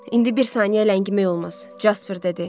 İndi bir saniyə ləngimək olmaz, Jasper dedi.